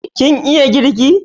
Kin iya girki?